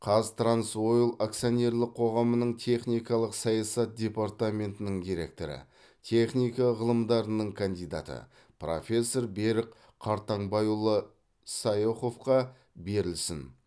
қаз транс ойл акционерлік қоғамының техникалық саясат департаментінің директоры техника ғылымдарының кандидаты профессор берік қартаңбайұлы сайоховқа берілсін